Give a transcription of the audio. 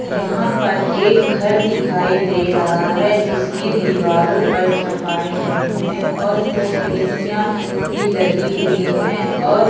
यहां पर एक घर दिखाई दे रहा है जिसकी दीवारों पर छपाई नहीं है और कुछ खिड़कियां भी लगी हुई हैं औ--